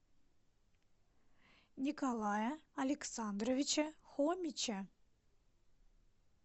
николая александровича хомича